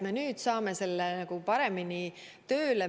Me nüüd saame selle paremini tööle.